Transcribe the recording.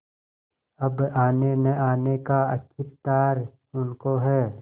अब आनेनआने का अख्तियार उनको है